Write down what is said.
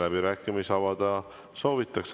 Läbirääkimisi avada soovitakse.